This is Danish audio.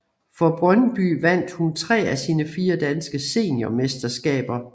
For Brøndby vandt hun tre af sine fire danske seniormesterskaber